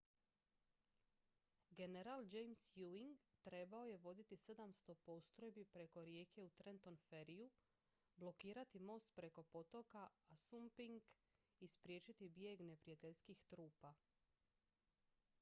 general james ewing trebao je voditi 700 postrojbi preko rijeke u trenton ferryju blokirati most preko potoka assunpink i spriječiti bijeg neprijateljskih trupa